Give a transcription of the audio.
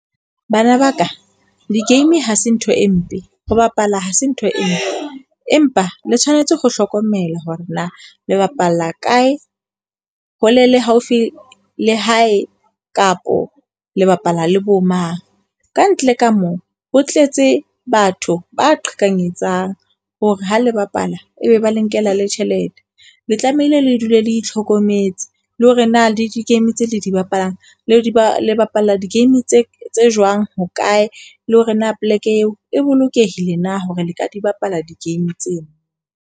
Bana ba ka, di-game ha se ntho e mpe. Ho bapala ha se ntho e, empa le tshwanetse ho hlokomela hore na le bapalla kae hole le haufi le hae kapo le bapala le bo mang. Kantle ka moo ho tletse batho ba qhekanyetsang hore ha le bapala, e be ba lenkela le tjhelete. Le tlamehile le dule le itlhokometse, le hore na na le di-game tse le di bapalang le di bolt. bapala di-game tse tse jwang, hokae, le hore na poleke eo e bolokehile na hore le ka di bapala di-game tseo.